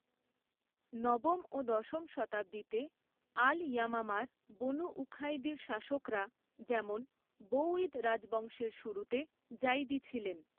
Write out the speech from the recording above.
নবম ও দশম শতাব্দীতে আল ইয়ামামার বনু উখাইদির শাসকরা যেমন বৌইদ রাজবংশের শুরুতে জাইদি ছিলেন।